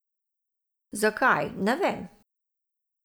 Zakaj, ne vem.